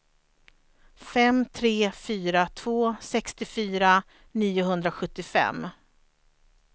fem tre fyra två sextiofyra niohundrasjuttiofem